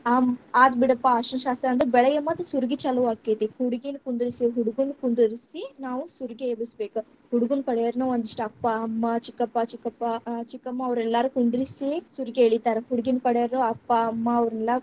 ಆತ್ಬಿಡಪ್ಪಾ ಅರಶಣ ಶಾಸ್ತ್ರ ಅಂತೂ , ಬೆಳಗ್ಗೆ ಮತ್ತ್ ಸುರಗಿ ಚಾಲುವಾಕ್ಕೇತಿ, ಹುಡುಗಿಗ ಕುಂದ್ರಿಸಿ, ಹುಡುಗನ್ನ್‌ ಕುಂದಿರಸಿ, ನಾವ್‌ ಸುರಗಿ ಎಬ್ಬಸ್‌ ಬೇಕ, ಹುಡುಗುನ್ನ ಕಡೆಯವ್ರ್ನ ಒಂದಿಷ್ಟ ಅಪ್ಪಾ, ಅಮ್ಮಾ, ಚಿಕ್ಕಪ್ಪಾ, ಚಿಕ್ಕಪ್ಪಾ ಆ ಚಿಕ್ಕಮ್ಮಾ ಅವ್ರತೆಲ್ಲಾರ್ನು ಕುಂದಿರಸಿ, ಸುರಗಿ ಎಳಿತಾರ, ಹುಡಗಿನ್ನ ಕಡೆಯವ್ರು ಅಪ್ಪಾ, ಅಮ್ಮಾ, ಅವ್ರನೆಲ್ಲಾ.